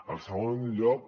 el segon lloc